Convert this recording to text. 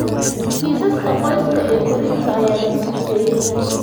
Kiisaska qoyska ee dysphasia korriinka ayaa lagu sifeeyay.